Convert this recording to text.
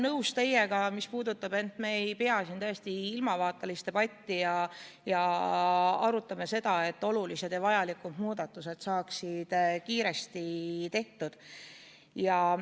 Ma olen teiega nõus, mis puudutab seda, et me ei pea siin ilmavaatelist debatti ning, et olulised ja vajalikud muudatused saaksid kiiresti tehtud.